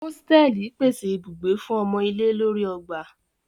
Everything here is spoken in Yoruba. Osteli pese ibugbe fun omo ile lori ogba.